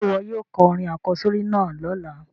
Sé wo yóò ko orin àkósórí náà lọ́la?